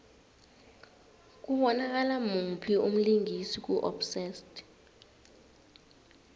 kubonakala muphi umlingisi ku obsessed